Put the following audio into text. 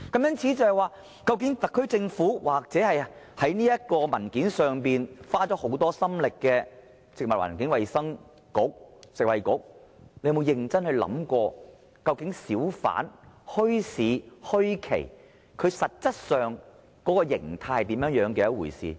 因此，特區政府或在文件上花了很多心力的食物及衞生局有否認真想過，究竟小販、墟市、墟期實質上的形態是甚麼一回事？